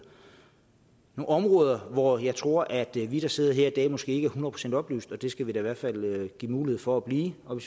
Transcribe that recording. områder hvor jeg tror at vi vi der sidder her i dag måske ikke procent oplyst og det skal vi da i hvert fald give mulighed for at blive og